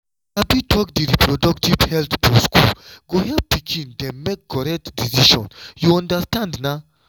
to sabi talk di reproductive health for school go help pikin dem make correct decision you understand na.